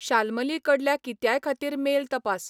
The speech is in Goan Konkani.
शालमलीकडल्या कित्यायखतीर मेल तपास